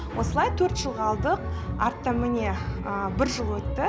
осылай төрт жылға алдық артта міне бір жыл өтті